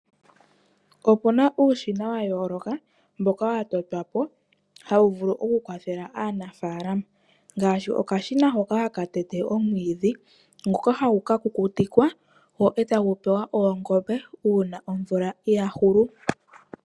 Opuna uushina yayooloka mboka wa totwapo tawu vulu oku kwathela aanafalama. Ngaashi okashina hoka haka tete omwiidhi ngoka hagu ka kukutikwa etagu pewa oongombe una omvula yahulu.